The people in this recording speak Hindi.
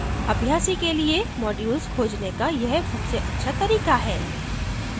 अभ्यासी के लिए modules खोजने का यह सबसे अच्छा तरीका है